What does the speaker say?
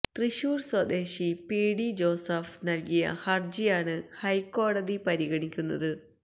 തൃശൂര് സ്വദേശി P D Joseph നല്കിയ ഹര്ജിയാണ് ഹൈക്കോടതി പരിഗണിക്കുന്നത്